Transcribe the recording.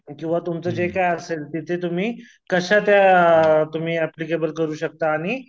किंवा तुमचं जे काय असेल तिथे तुम्ही कशा त्या तुम्ही अप्लिकेबल करू शकता आणि